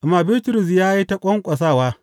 Amma Bitrus ya yi ta ƙwanƙwasawa.